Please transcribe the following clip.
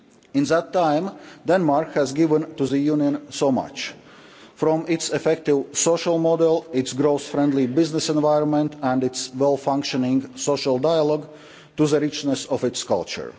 In that time Denmark has given the Union so much, from its effective social model, its growth friendly business environment and its well functioning social dialogue to the richness of its culture.